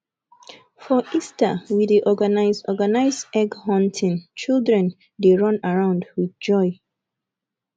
for easter we dey organize organize egg hunting children dey run around with joy